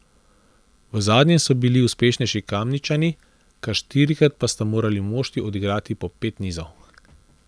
V zadnjem so bili uspešnejši Kamničani, kar štirikrat pa sta morali moštvi odigrati po pet nizov.